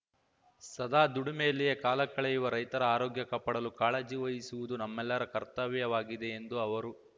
ಸದಾ ದುಡಿಮೆಯಲ್ಲಿಯೇ ಕಾಲ ಕಳೆಯುವ ರೈತರ ಆರೋಗ್ಯ ಕಾಪಾಡಲು ಕಾಳಜಿ ವಹಿಸುವುದು ನಮ್ಮೆಲ್ಲರ ಕರ್ತವ್ಯವಾಗಿದೆ ಎಂದು ಅವರು